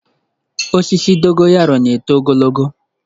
Osisi Dogo yaro na-eto ogologo.